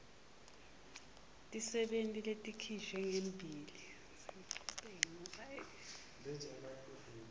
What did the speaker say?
tetisebenti letikhishwe ngelesibili